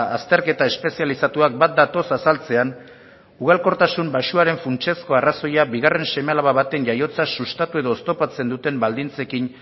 azterketa espezializatuak bat datoz azaltzean ugalkortasun baxuaren funtsezko arrazoia bigarren seme alaba baten jaiotza sustatu edo oztopatzen duten baldintzekin